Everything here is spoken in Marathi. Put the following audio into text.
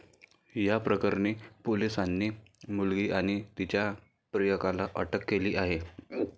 या प्रकरणी पोलिसांनी मुलगी आणि तिच्या प्रियकराला अटक केली आहे.